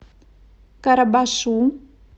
карабашу